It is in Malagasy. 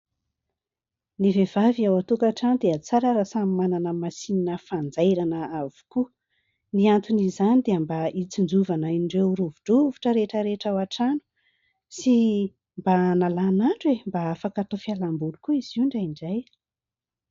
Ny vehivavy ao an-tokantrano dia tsara raha samy manana masinina fanjairana avokoa. Ny anton'izany dia mba hitsinjovana an' ireo rovidrovitra rehetra rehetra ao an-trano sy mba hanalana andro e ! Mba afaka atao fialamboly koa izy io indraindray.